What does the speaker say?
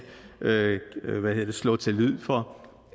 slå til lyd for